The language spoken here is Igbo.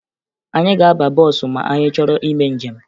Anyị ga-aba bọọsụ ma anyị chọrọ ime njem